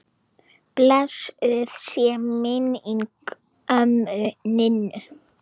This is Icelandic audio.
Blessuð sé minning ömmu Ninnu.